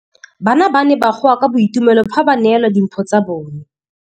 Bana ba ne ba goa ka boitumelo fa ba neelwa dimphô tsa bone.